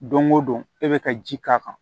Don o don e bɛ ka ji k'a kan